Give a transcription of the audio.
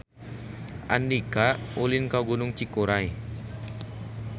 Andika ulin ka Gunung Cikuray